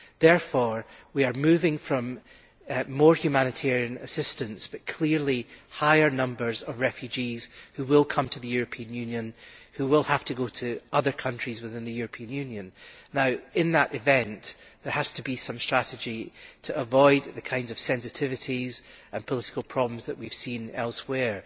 Therefore we are moving from more humanitarian assistance to clearly higher numbers of refugees who will come to the European Union, and who will then have to go to other countries within the European Union. Now, in that event, there has to be some strategy to avoid the kinds of sensitivities and political problems that we have seen elsewhere.